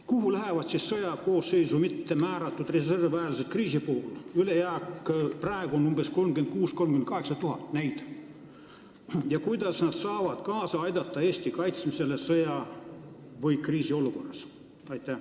Kuhu lähevad siis sõjaaja koosseisu mitte määratud reservväelased kriisi puhul – ülejääk on praegu umbes 36 000 – 38 000 – ja kuidas nad saavad kaasa aidata Eesti kaitsmisele sõja- või kriisiolukorras?